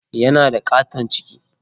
Yana da ƙaton ciki.